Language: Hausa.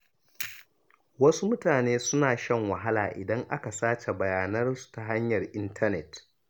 Wasu mutane suna shan wahala idan aka sace bayanansu ta hanyar intanet.